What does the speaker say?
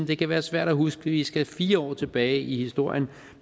det kan være svært at huske vi skal fire år tilbage i historien